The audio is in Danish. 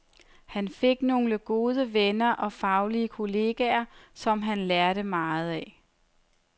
Han fik nogle gode venner og faglige kolleger, som han lærte meget af.